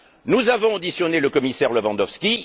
Nous avons auditionné le commissaire Lewandowski.